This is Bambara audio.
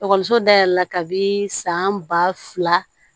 Ekɔliso dayɛlɛla kabi san ba fila